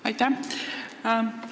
Aitäh!